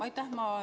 Aitäh!